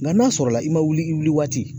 Nka n'a sɔrɔla i ma wuli i wuli waati